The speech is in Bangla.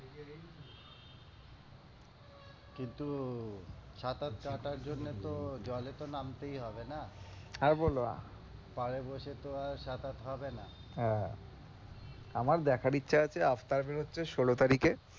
কিন্তু সাঁতার কাটার জন্য তো জলে তো নামতেই হবে না আর বলো, পাড়ে বসে তো আর সাঁতার হবে না, হ্যাঁ। আমার দেখার ইচ্ছে আছে avatar বেরোচ্ছে ষোলো তারিখ এ